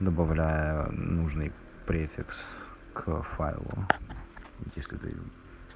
добавляя нужный префикс к файлам если